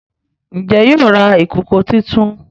Njé yóò rà ìkọkọ títún?